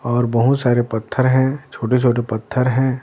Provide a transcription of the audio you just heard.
और बहुत सारे पत्थर हैं छोटे छोटे पत्थर हैं।